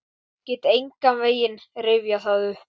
Get engan veginn rifjað það upp.